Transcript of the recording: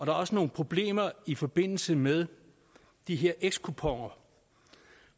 er også nogle problemer i forbindelse med de her ex kuponer